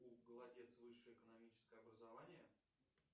у голодец высшее экономическое образование